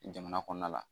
Jamana kɔnɔna la